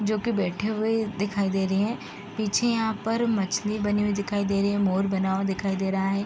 जोकि बैठे हुए दिखाई दे रहे हैं। पीछे यहाँ पर मछली बने हुए दिखाई दे रही है। मोर बना हुआ दिखाई दे रहा है।